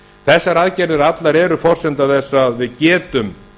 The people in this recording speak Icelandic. þessar aðgerðir allar eru forsenda þess að við getum